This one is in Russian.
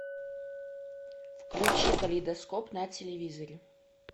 включи калейдоскоп на телевизоре